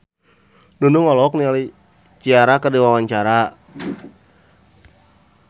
Nunung olohok ningali Ciara keur diwawancara